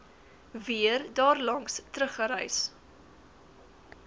weer daarlangs teruggereis